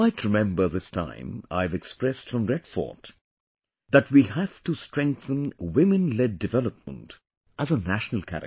You might remember this time I have expressed from Red Fort that we have to strengthen Women Led Development as a national character